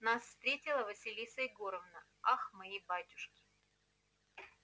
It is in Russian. нас встретила василиса егоровна ах мои батюшки